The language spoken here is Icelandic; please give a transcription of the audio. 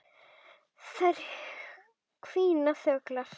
Þær hvína þöglar.